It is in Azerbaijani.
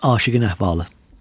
Aşiqin əhvalı.